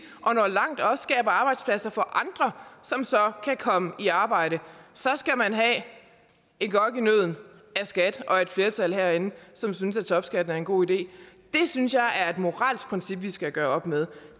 og når langt og skaber arbejdspladser for andre som så kan komme i arbejde så skal man have et gok i nødden af skat og et flertal herinde som synes at topskatten er en god idé det synes jeg er et moralsk princip vi skal gøre op med